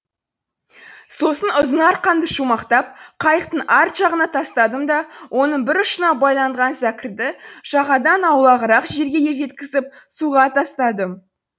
сосын ұзын арқанды шумақтап қайықтың арт жағына тастадым да оның бір ұшына байланған зәкірді жағадан аулағырақ жерге жеткізіп суға тастадым